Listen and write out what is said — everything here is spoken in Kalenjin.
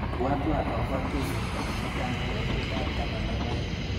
Ibwatwa akobo tuiyetab mutai kebebertap taman ak aeng.